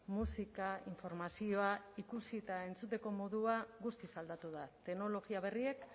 musika informazioa ikusi eta entzuteko modua guztiz aldatu da teknologia berriek